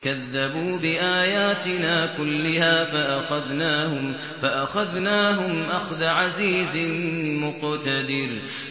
كَذَّبُوا بِآيَاتِنَا كُلِّهَا فَأَخَذْنَاهُمْ أَخْذَ عَزِيزٍ مُّقْتَدِرٍ